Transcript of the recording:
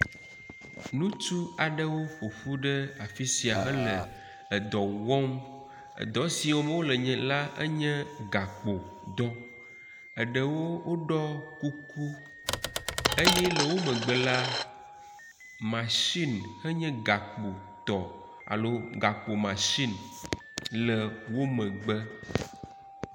Ŋutsu aɖewo ƒoƒu ɖe afi sia hele edɔ wɔm. Edɔ siwo wɔm wo le la enye gakpo dɔ eɖewo ɖɔ kuku eye le wo megbe la masini henye gakpo tɔ alo gakpo masini le wo megbe.